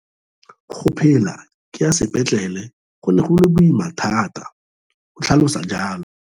Go phela ke ya sepetlele go ne go le boima thata, o tlhalosa jalo.